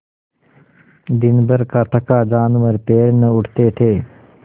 दिनभर का थका जानवर पैर न उठते थे